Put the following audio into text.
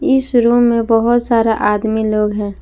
इस रूम में बहोत सारा आदमी लोग हैं।